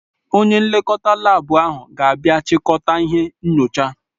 Onye nlekọta laabu ahụ ga-abịa chịkọta ihe nyochaa.